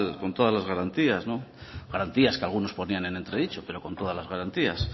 con todas las garantías garantías que algunos ponían en entredicho pero con todas las garantías